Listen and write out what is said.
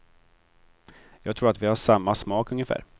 Jag tror att vi har samma smak ungefär.